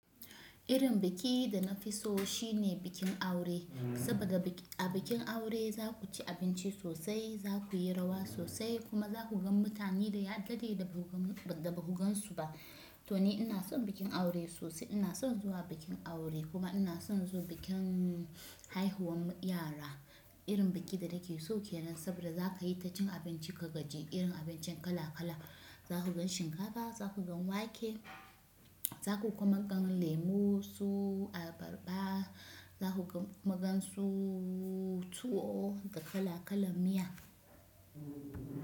Irin biki dana fi so shine bikin aure. Saboda a bikin aure za ku ci abinci sosai, za ku yi rawa sosai kuma za ku ga mutane da ya dade da ba ku gan su ba. To ni ina son bikin aure sosai. Ina son zuwa bikin aure kuma ina son zu bikin haihuwan yara. Irin bikin da nake so kenan saboda za ka yi ta cin abinci ka gaji, irin abincin kala kala. Za ku gan shinkafa, za ku gan wake, za ku kuma gan lemo su. Abarba, zaku kuma gan su. Tuwo da kala kalan miya.